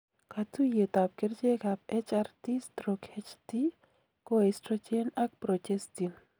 katuoyet ab kerchek ab HRT/HT ko oestrogen ak projestin